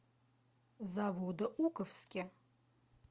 заводоуковске